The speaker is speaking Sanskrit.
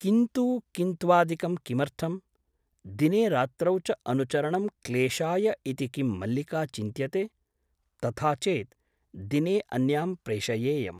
किन्तु किन्त्वादिकं किमर्थम् ? दिने रात्रौ च अनुचरणं क्लेशाय इति किं मल्लिका चिन्त्यते ? तथा चेत् दिने अन्यां प्रेषयेयम् ।